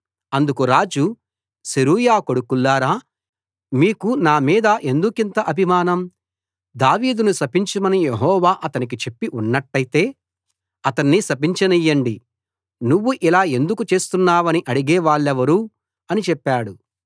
అందుకు రాజు సెరూయా కొడుకుల్లారా మీకు నామీద ఎందుకింత అభిమానం దావీదును శపించమని యెహోవా అతనికి చెప్పి ఉన్నట్టయితే అతణ్ణి శపించయ్యండి నువ్వు ఇలా ఎందుకు చేస్తున్నావని అడిగేవాళ్ళెవరు అని చెప్పాడు